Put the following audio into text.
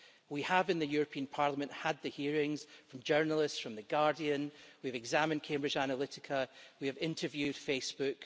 We at the European Parliament have had the hearings from journalists from The Guardian we've examined Cambridge Analytica, we have interviewed Facebook.